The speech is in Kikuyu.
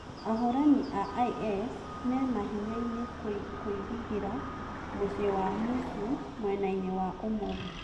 Ahũrani a IS mĩ mahĩnyainĩ kũirigĩra mucĩĩ wa musul mwenainĩ wa ũmotho